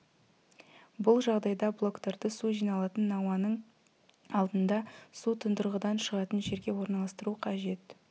бұл жағдайда блоктарды су жиналатын науаның алдында су тұндырғыдан шығатын жерге орналастыру қажет